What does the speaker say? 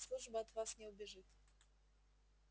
служба от вас не убежит